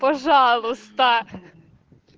пожалуйста